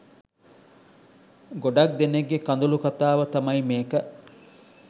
ගොඩක් දෙනෙක්ගේ කඳුළු කතාව තමයි මේක.